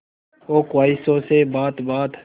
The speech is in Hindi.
हो ख्वाहिशों से बात बात